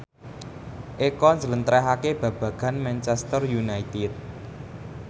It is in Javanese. Eko njlentrehake babagan Manchester united